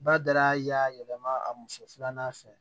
Ba dara y'a yɛlɛma a muso filanan fɛ